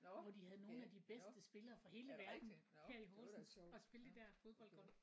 Hvor da havde nogle af det bedste spillere fra hele verden her i Horsens og spille det der fodboldgolf